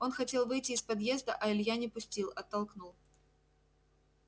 он хотел выйти из подъезда а илья не пустил оттолкнул